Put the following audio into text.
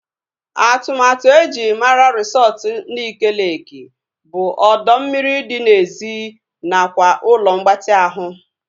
Atụmatụ eji mara resọtu Nike Leeki bụ ọdọ mmiri dị n'èzí nakwa ụlọ mgbatị ahụ